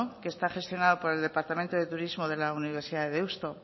que está gestionado por el departamento de turismo de la universidad de deusto